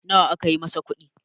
nawa aka yi masa kudi?